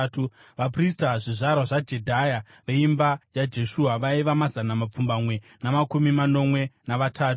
Vaprista: zvizvarwa zvaJedhaya (veimba yaJeshua) vaiva mazana mapfumbamwe namakumi manomwe navatatu;